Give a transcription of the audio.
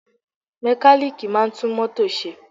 Mẹkálíìkì máà ń tún mótò ṣe.